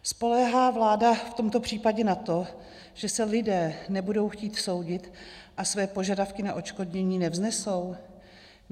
Spoléhá vláda v tomto případě na to, že se lidé nebudou chtít soudit a své požadavky na odškodnění nevznesou?